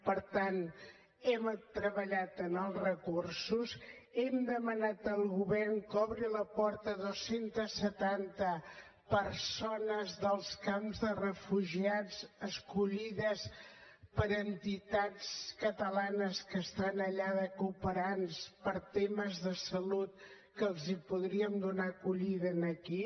per tant hem treballat en els recursos hem demanat al govern que obri la porta a dos cents i setanta persones dels camps de refugiats escollides per entitats catalanes que estan allà de cooperants per temes de salut que els podríem donar acollida aquí